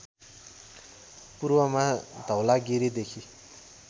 पूर्वमा धवलागिरी देखी